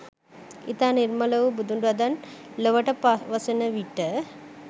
ඉතා නිර්මල වූ බුදු වදන් ලොවට පවසන විට